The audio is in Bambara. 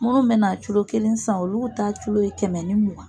Munnu mɛna culo kelen san olugu ta culo ye kɛmɛ ni mugan.